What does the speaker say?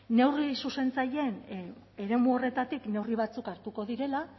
neurri zuzentzaileen eremu horretatik neurri batzuek hartuko direla